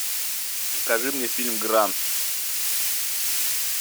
покажи мне фильм гранд